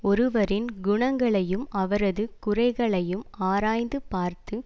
ஒருவரின் குணங்களையும் அவரது குறைகளையும் ஆராய்ந்து பார்த்து